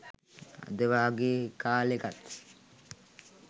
අද වගේ කාලෙකත්